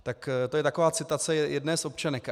Tak to je taková citace jedné z občanek.